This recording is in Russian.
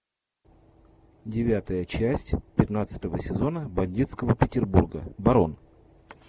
девятая часть пятнадцатого сезона бандитского петербурга барон